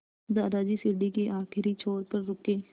दादाजी सीढ़ी के आखिरी छोर पर रुके